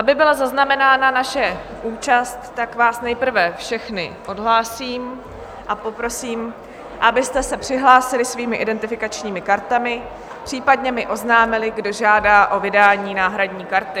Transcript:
Aby byla zaznamenána naše účast, tak vás nejprve všechny odhlásím a poprosím, abyste se přihlásili svými identifikačními kartami, případně mi oznámili, kdo žádá o vydání náhradní karty.